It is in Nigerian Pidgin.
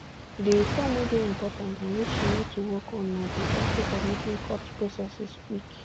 di reform wey dey important and wey she need to work on na di aspect of making court processes quick